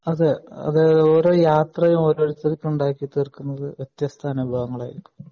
അതെ അത് ഓരോ യാത്രയും ഓരോരുത്തർക്ക് ഉണ്ടാക്കി തീർക്കുന്നത് വെത്യസ്ത അനുഭവങ്ങൾ ആയിരിക്കും